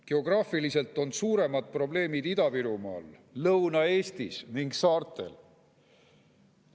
Geograafiliselt on suuremad probleemid Ida-Virumaal, Lõuna-Eestis ning saartel.